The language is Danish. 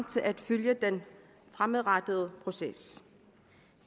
til at følge den fremadrettede proces